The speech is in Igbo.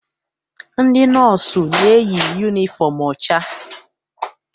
Ndị nọọsụ na-eyi yunifọm ọcha.